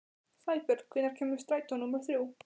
Sæbjörn, hvenær kemur strætó númer þrjú?